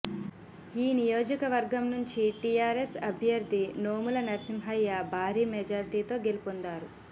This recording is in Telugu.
ఈ నియోజకవర్గం నుంచి టీఆర్ఎస్ అభ్యర్థి నోముల నర్సింహయ్య భారీ మెజార్టీతో గెలుపొందారు